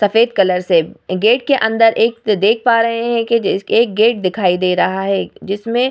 सफेद कलर से गेट के अन्दर एक देख पा रहे है एक गेट दिखाई दे रहा है जिसमे --